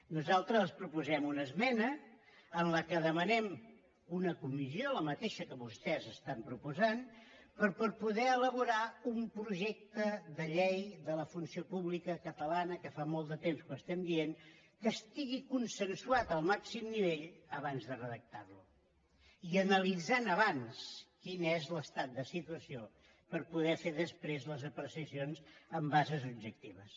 nosaltres els proposem una esmena en què demanem una comissió la mateixa que vostès estan proposant però per poder elaborar un projecte de llei de la funció pública catalana que fa molt de temps que ho estem dient que estigui consensuat al màxim nivell abans de redactar lo i analitzant abans quin és l’estat de situació per poder fer després les apreciacions amb bases objectives